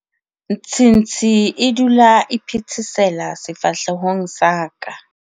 nthsintshi e dula e phethesela sefahlehong sa ka